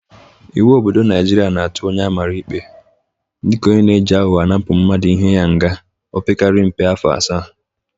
Iwu obodo Naịjịrịa na-atụ onye amara ikpe dịka onye na-eji aghọghọ anapụ mmadụ ihe ya nga opekarị mbe afọ asaa.